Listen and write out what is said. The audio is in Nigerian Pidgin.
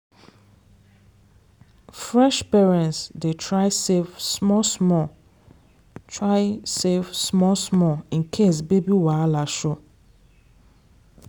fresh parents dey try save small-small try save small-small in case baby wahala show.